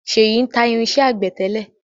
ṣeyi ń ta irinsẹ́ àgbẹ̀ tẹ́lẹ̀